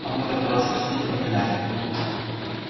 а мы-то про вас каждый день поминали